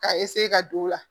K'a ka don o la